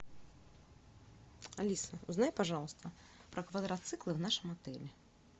алиса узнай пожалуйста про квадроциклы в нашем отеле